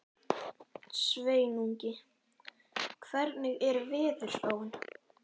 Sveinungi, hvernig er veðurspáin?